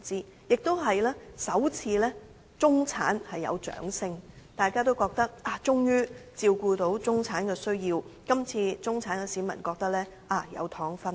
此外，這次也是首次聽到中產人士的掌聲，大家覺得政府終於照顧到中產人士的需要了，這次中產市民也認為有"糖"分了。